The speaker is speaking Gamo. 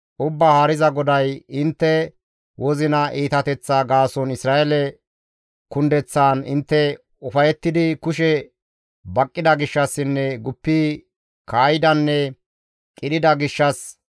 Ubbaa Haariza GODAY, ‹Intte wozina iitateththaa gaason Isra7eele kundeththaan intte ufayettidi kushe baqqida gishshassinne guppi kaa7idanne qidhida gishshas,